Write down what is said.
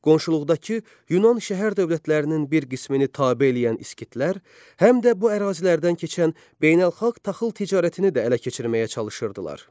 Qonşuluqdakı Yunan şəhər dövlətlərinin bir qismini tabe eləyən İskitlər, həm də bu ərazilərdən keçən beynəlxalq taxıl ticarətini də ələ keçirməyə çalışırdılar.